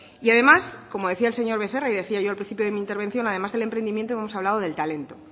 y además como decía el señor becerra y decía yo al principio de mi intervención además del emprendimiento hemos hablado del talento